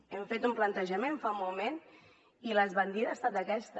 hem fet un plantejament fa un moment i l’esbandida ha estat aquesta